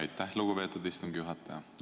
Aitäh, lugupeetud istungi juhataja!